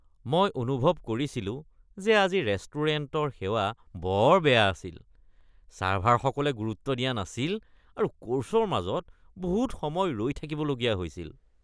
মই অনুভৱ কৰিছিলো যে আজি ৰেষ্টুৰেণ্টৰ সেৱা বৰ বেয়া আছিল। চাৰ্ভাৰসকলে গুৰুত্ব দিয়া নাছিল আৰু কৰ্ছৰ মাজত বহুত সময় ৰৈ থাকিবলগীয়া হৈছিল।